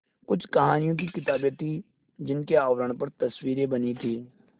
कुछ कहानियों की किताबें थीं जिनके आवरण पर तस्वीरें बनी थीं